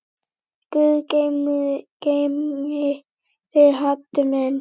Guð geymi þig, Haddi minn.